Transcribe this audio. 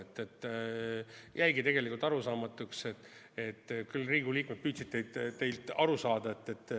Tegelikult jäigi see arusaamatuks, kuigi Riigikogu liikmed püüdsid teilt teada saada.